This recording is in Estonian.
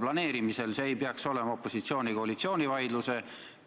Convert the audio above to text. See ei peaks olema opositsiooni-koalitsiooni vaidluse